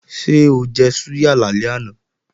Ṣé ó jẹ súyà lálẹ́ àná?